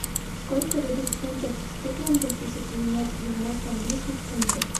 сколько дадут фунтов стерлингов если поменять девяносто английских фунтов